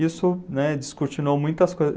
Isso, né, descortinou muitas coisas.